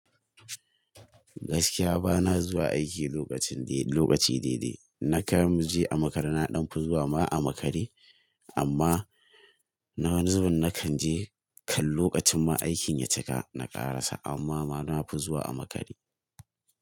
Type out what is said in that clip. Gaskiya bana zuwa aiki lokacin dai lokaci dai-dai. Na kan je a makare, na ɗan fi zuwa ma a makare. Amma na wani zubin na kan je kan lokacin ma aikin ya cika, na ƙarasa amma bana fi zuwa a makare.